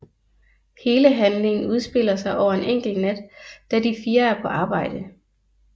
Hele handlingen udspiller sig over en enkelt nat da de fire er på arbejde